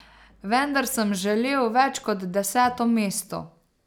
Vendar sem želel več kot deseto mesto.